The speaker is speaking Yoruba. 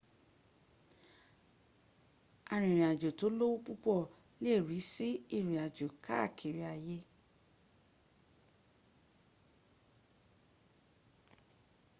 arìnrìnàjò tó lówó púpọ̀ lè rísí ìrìn àjò káà kiri ay